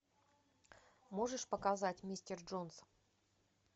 можешь показать мистер джонс